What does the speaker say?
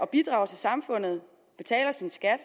bidrager til samfundet betaler sin skat